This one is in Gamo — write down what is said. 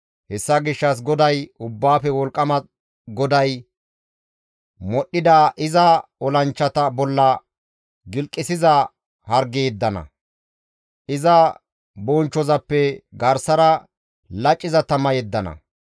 Hessa gishshas GODAY, Ubbaafe Wolqqama GODAY, modhdhida iza olanchchata bolla gilqisiza harge yeddana; iza bonchchozappe garsara laciza tama yeddana.